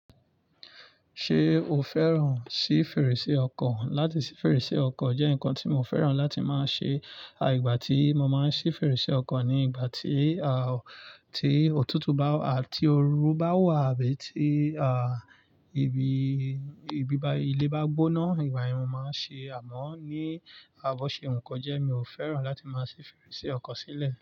Ṣé o fẹ́ràn sí fèrèsé ọkọ̀? Láti sí fèrèsé ọkọ̀ jẹ́ nǹkan tí mo fẹ́ràn láti máa ṣe. À ìgbà tí mo máa ń sí fèrèsé ọkọ̀ ni ìgbà tí, à, tí òtútù bá, à, tí oru bá wà bí i tí, à, ibi, ibi bá, ilé bá gbóná. Ìgbàyẹn mo màa ń sí, àmọ́ bó ṣe wù kó jẹ́ mio fẹ́ràn láti masi fèrèsé ọkọ̀ sílẹ̀.